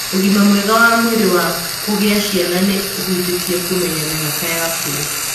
Ũgima mwega wa mwĩrĩ wa kũgĩa ciana nĩ ũhutĩtie kũmenya mĩhaka yaku.